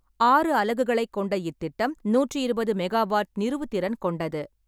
ஆறு அலகுகளைக் கொண்ட இத்திட்டம், நூற்றி இருபது மெகாவாட் நிறுவுதிறன் கொண்டது.